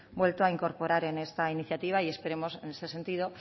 vuelto a incorporar en esta iniciativa y esperemos en ese sentido